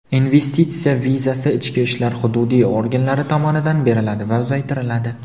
investitsiya vizasi ichki ishlar hududiy organlari tomonidan beriladi va uzaytiriladi.